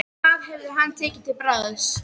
Hvað hefði hann tekið til bragðs?